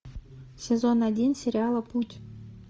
сезон один сериала путь